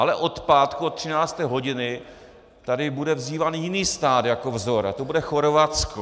Ale od pátku od 13. hodiny tady bude vzýván jiný stát jako vzor a to bude Chorvatsko.